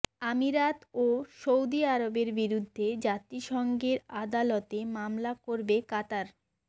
আমিরাত ও সৌদি আরবের বিরুদ্ধে জাতিসংঘের আদালতে মামলা করবে কাতার